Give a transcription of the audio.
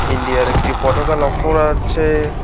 ইন্ডিয়ার একটি পতাকা লক্ষ্য করা যাচ্ছে।